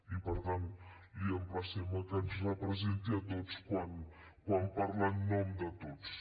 i per tant l’emplacem a que ens representi a tots quan parla en nom de tots